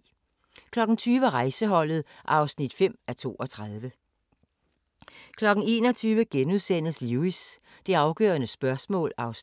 20:00: Rejseholdet (5:32) 21:00: Lewis: Det afgørende spørgsmål (Afs. 15)*